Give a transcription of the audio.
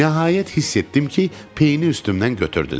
Nəhayət hiss etdim ki, peyini üstümdən götürdülər.